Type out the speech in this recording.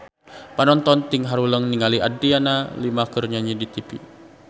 Panonton ting haruleng ningali Adriana Lima keur nyanyi di tipi